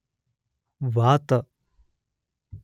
ವಾತ